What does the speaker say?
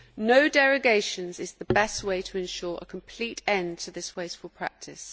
No derogations' is the best way to ensure a complete end to this wasteful practice.